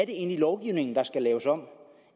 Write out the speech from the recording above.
egentlig lovgivningen der skal laves om